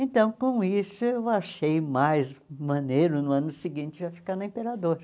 Então, com isso, eu achei mais maneiro, no ano seguinte, eu ficar na Imperador.